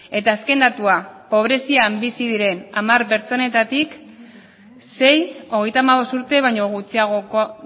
eta azken datua pobrezian bizi diren hamar pertsonetatik sei hogeita hamabost urte baino gutxiagokoa